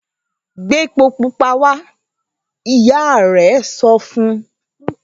‘Gbé epo pupa wa!’, ìyá rè̩ so fun